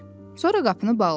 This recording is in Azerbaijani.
Sonra qapını bağladı.